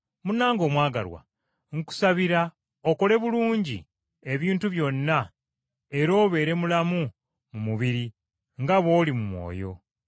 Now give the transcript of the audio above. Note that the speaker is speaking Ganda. Munnange omwagalwa, nkusabira okole bulungi ebintu byonna era obeere mulamu mu mubiri, nga bw’oli mu mwoyo.